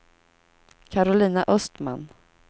Karolina Östman